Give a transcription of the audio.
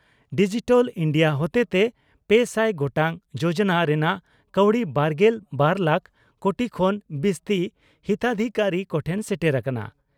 Digital India ᱦᱚᱛᱮᱛᱮ ᱯᱮᱥᱟᱭ ᱜᱚᱴᱟᱝ ᱡᱚᱡᱚᱱᱟ ᱨᱮᱱᱟᱜ ᱠᱟᱹᱣᱰᱤ ᱵᱟᱨᱜᱮᱞ ᱵᱟᱨ ᱞᱟᱠᱷ ᱠᱳᱴᱤ ᱠᱷᱚᱱ ᱵᱤᱥᱛᱤ ᱦᱤᱛᱟᱫᱷᱤᱠᱟᱨᱤ ᱠᱚᱴᱷᱮᱱ ᱥᱮᱴᱮᱨ ᱟᱠᱟᱱᱟ ᱾